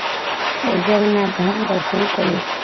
ଜଗନ୍ନାଥ ଧାମ ଦର୍ଶନ କଲୁ